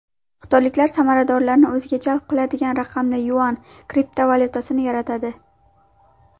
Xitoyliklar sarmoyadorlarni o‘ziga jalb qiladigan raqamli yuan kriptovalyutasini yaratadi.